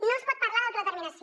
no es pot parlar d’autodeterminació